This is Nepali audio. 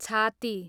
छाती